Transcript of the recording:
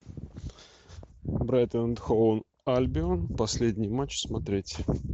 брайтон энд хол альбион последний матч смотреть